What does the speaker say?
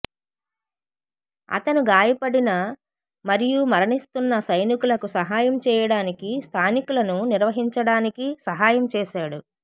అతను గాయపడిన మరియు మరణిస్తున్న సైనికులకు సహాయం చేయడానికి స్థానికులను నిర్వహించడానికి సహాయం చేశాడు